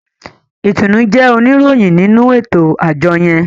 Itunu jé oníròyìn nínú eto-ajọ yẹn.